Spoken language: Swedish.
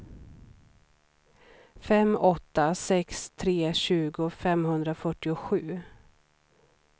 fem åtta sex tre tjugo femhundrafyrtiosju